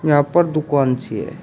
यहां पर दुकान सी है।